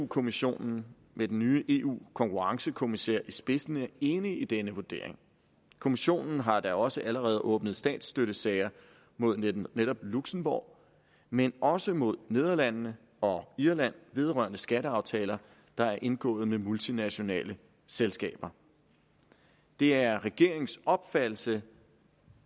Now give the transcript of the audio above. kommissionen med den nye eu konkurrencekommissær i spidsen er enig i denne vurdering kommissionen har da også allerede åbnet statsstøttesager mod netop netop luxembourg men også mod nederlandene og irland vedrørende skatteaftaler der er indgået med multinationale selskaber det er regeringens opfattelse